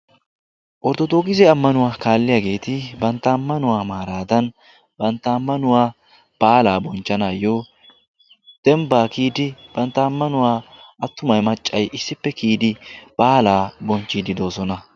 ortodookise ammanuwaa kaalliyaageeti bantta ammanuwaa maaraadan bantta ammanuwaa baalaa bonchchanaayyo dembbaa kiyidi bantta ammanuwaa attumay maccay issippe kiyidi baalaa bonchchiididoosona.